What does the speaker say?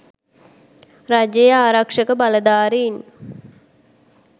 රජයේ ආරක්ෂක බලධාරීන්